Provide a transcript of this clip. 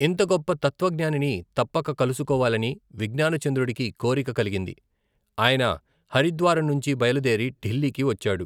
ఇంత గొప్ప తత్వజ్ఞానిని తప్పక కలుసుకోవాలని విజ్ఞానచంద్రుడికి కోరిక కలిగింది. ఆయన హరిద్వారం నుంచి బయలుదేరి ఢిల్లీకి వచ్చాడు.